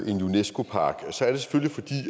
en unesco park